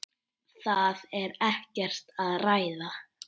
Það er ekkert að ræða.